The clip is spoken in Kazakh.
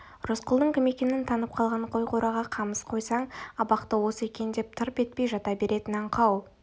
рысқұлдың кім екенін танып қалған қой қораға қамап қойсаң абақты осы екен деп тырп етпей жата беретін аңқау